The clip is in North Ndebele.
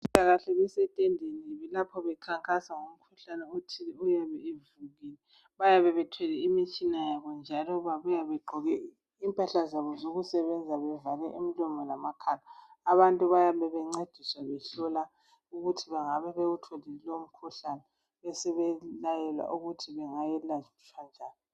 Abezempilakahle basetendeni lapho bekhankasa ngomkhuhlane othile oyabe uvukile. Bayabe bethwele imitshina yabo njalo babuya begqoke impahla zabo zokusebenza bevale imlomo lamakhala . Abantu baayabe bencediswa behlolwa ukuthi bengabe bewutholile lowo mkhuhlane besebe layelwa ukuthi bangelatshwa njani.